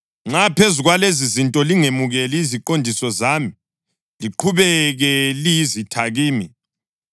Nxa phezu kwalezizinto lingemukeli iziqondiso zami, liqhubeke liyizitha kimi,